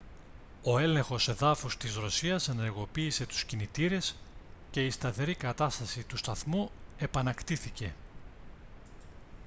ο έλεγχος εδάφους της ρωσίας ενεργοποίησε τους κινητήρες και η σταθερή κατάσταση του σταθμού επανακτήθηκε